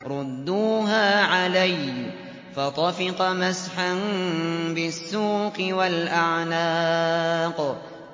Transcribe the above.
رُدُّوهَا عَلَيَّ ۖ فَطَفِقَ مَسْحًا بِالسُّوقِ وَالْأَعْنَاقِ